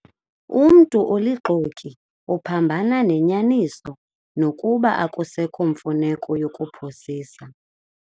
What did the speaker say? Umntu olixoki uphambana nenyaniso nokuba akusekho mfuneko yokuphosisa.